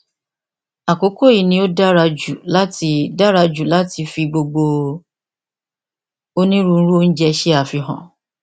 àkókò yìí ni ó dára jù láti dára jù láti fi gbogbo onírúurú oúnjẹ ṣe àfihàn